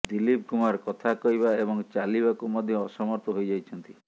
ଦିଲ୍ଲିପ କୁମାର କଥା କହିବା ଏବଂ ଚାଲିବାକୁ ମଧ୍ୟ ଅସମର୍ଥ ହୋଇଯାଇଛନ୍ତି